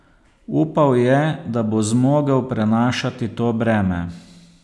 Upal je, da bo zmogel prenašati to breme.